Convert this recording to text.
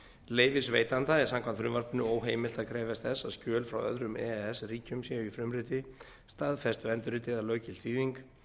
leyfisveitanda er samkvæmt frumvarpinu óheimilt að krefjast þess að skjöl frá öðrum e e s ríkjum séu í frumriti staðfestu endurriti eða löggilt þýðing